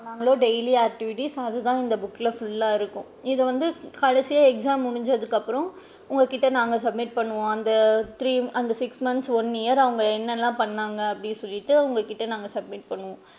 பன்னுனான்களோ daily activities அது தான் இந்த book ல full லா இருக்கும் இத வந்து கடைசியா exam முடிஞ்சதுக்கு அப்பறம் உங்ககிட்ட நாங்க submit பண்ணுவோம் அந்த three அந்த six months one year அவுங்க எண்ணலா பன்னுனாங்க அப்படின்னு சொல்லிட்டு உங்ககிட்ட நாங்க submit பண்ணுவோம்.